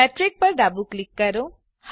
metric પર ડાબું click કરો